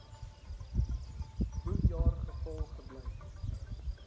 boekjaar gevul gebly